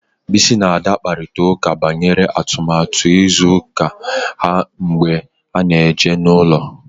Bisi na Ada kparịtara ụka banyere atụmatụ izu ụka ha mgbe ha na-eje ije n'ụlọ